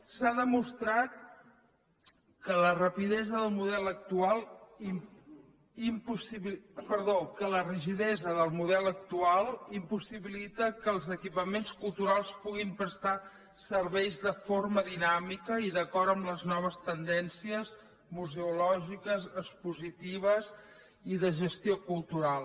s’ha demostrat que la rigidesa del model actual impossibilita que els equipaments culturals puguin prestar serveis de forma dinàmica i d’acord amb les noves tendències museològiques expositives i de gestió cultural